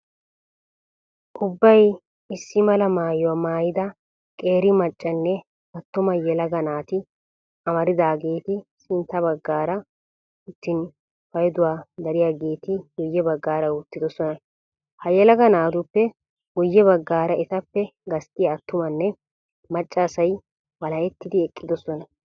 Ubbay isdi mala maayuwa maayida qeeri maccanne attuma yelaga maati amaridaageeti sintta baggaara uttin payduwan dariyageeti guyye baggaara uttidosona. Ha yelaga naatuppe guyye baggaara etappe gasttiya attumanne macca asay walahettidi eqqidosona.